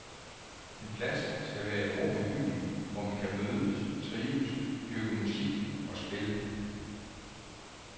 En plads skal være et rum i byen, hvor man kan mødes, trives, dyrke musik og spil.